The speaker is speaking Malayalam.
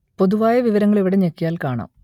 പൊതുവായ വിവരങ്ങൾ ഇവിടെ ഞെക്കിയാൽ കാണാം